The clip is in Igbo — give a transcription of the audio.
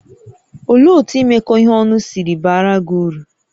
Olee otú imekọ ihe ọnụ si baara gị uru?